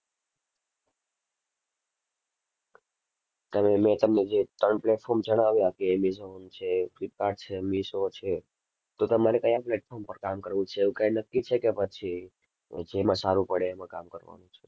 તમે, મેં તમને જે ત્રણ platform જણાવ્યા કે Amazon છે Flipkart છે Meesho છે તો તમારે કયાં platform પર કામ કરવું છે એવું કાંઈ નક્કી છે કે પછી જેમાં સારું પડે એમાં કામ કરવાનું છે?